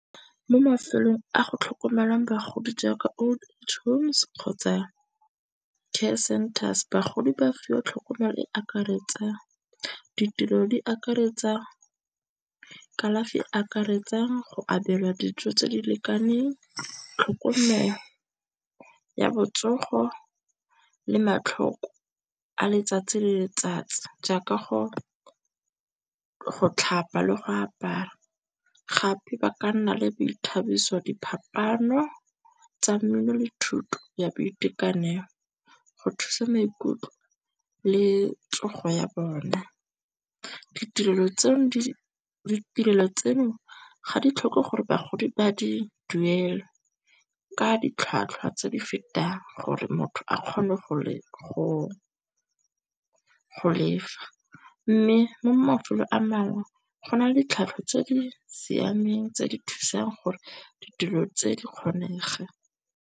Mo mafelong a go tlhokomelwang bagodi jaaka Old Age Homes kgotsa Care Centers. Bagodi ba fiwa tlhokomelo e akaretsa ditirelo di akaretsa kalafi akaretsang go abelwa dijo tse di lekaneng, tlhokomelo ya botsogo le matlhoko a letsatsi le letsatsi jaaka go tlhapa le go apara. Gape ba ka nna le boithabiso, diphapaano tsa mmino le thuto ya boitekanelo go thusa maikutlo le tsogo ya bona. Ditirelo tseno ga di tlhoke gore bagodi ba di duele ka ditlhwatlhwa tse di fetang gore motho a kgone go lefa. Mme mo mafelong a mangwe gona le ditlhwatlhwa tse di siameng tse di thusang gore ditulo tse di kgonege.